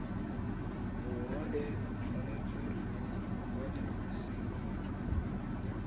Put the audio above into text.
borwa e tshwanetse go kwadisiwa